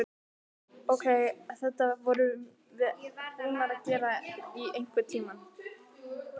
Ókei, þetta vorum við búnar að gera í einhvern tíma.